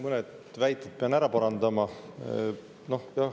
Mõned väited pean ära parandama.